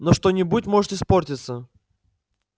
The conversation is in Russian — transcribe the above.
но что-нибудь может испортиться